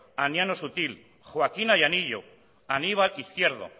aniano sutil joaquína llanillo aníbal izquierdo